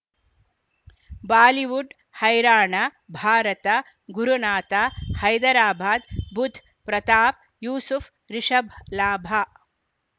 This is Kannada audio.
ಬಾಲಿವುಡ್ ಹೈರಾಣ ಭಾರತ ಗುರುನಾಥ ಹೈದರಾಬಾದ್ ಬುಧ್ ಪ್ರತಾಪ್ ಯೂಸುಫ್ ರಿಷಬ್ ಲಾಭ